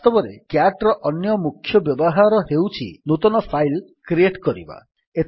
ବାସ୍ତବରେ କ୍ୟାଟ୍ ର ଅନ୍ୟ ମୁଖ୍ୟ ବ୍ୟବହାର ହେଉଛି ନୂତନ ଫାଇଲ୍ କ୍ରିଏଟ୍ କରିବା